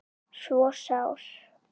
svo sár